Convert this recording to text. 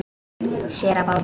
Sér á báti.